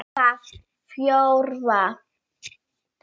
Það fjórða